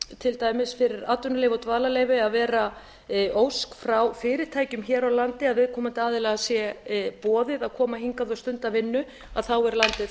til dæmis fyrir atvinnuleyfi og dvalarleyfi að vera ósk frá fyrirtækjum hér á landi að viðkomandi aðila sé boðið að koma hingað og stunda vinnu þá er landið